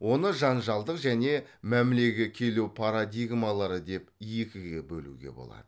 оны жанжалдық және мәмілеге келу парадигмалары деп екіге бөлуге болады